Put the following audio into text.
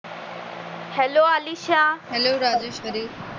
hello Anisha hello Rajshri